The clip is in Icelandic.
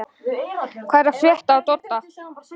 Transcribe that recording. Hvað er að frétta af Dodda?